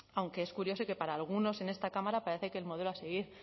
aunque es curioso que para algunos en esta cámara parece que el modelo a seguir